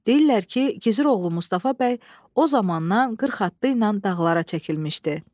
Deyirlər ki, Gizir oğlu Mustafa bəy o zamandan qırx atlı ilə dağlara çəkilmişdi.